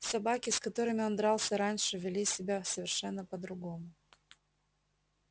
собаки с которыми он дрался раньше вели себя совершенно по другому